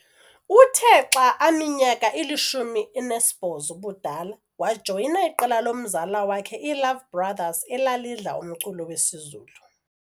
Uthe xa aminyaka ili-18 ubudala wajoyina iqela lomzala wakhe, iiLove Brothers, elalidla umculo wesiZulu